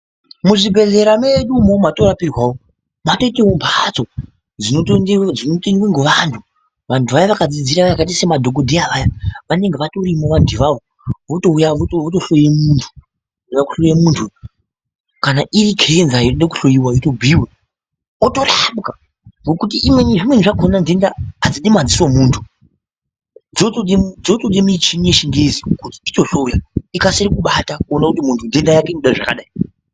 Muzviibhedhlera medu umu matoorapirwa umu makatoitawo mphatso dzinotoendwa ngevanthu vanthu vaya vakadzidzira vakaita semadhikodheya vanenge vatorimo vanthu ivavo votouya votohloye munthu kuhloye munthu kana iri Kenza inode kuhloyiwa yotobhuiwa otorapwa ngekuti zvimweni zvakhona nthenda adzidi madziso omunthu dzinotoda mishini yechingezi inotohloya ikasira kubata kuti munthu uyu ntenda yake inoda zvakadai.